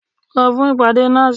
Lọ fún ìpàdé NASS!